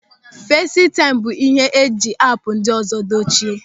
Fesịtaịm bụ ịhe e jiri app ndị ọzọ dochie.